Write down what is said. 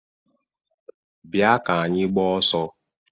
Bịa ka anyị gbaa ọsọ!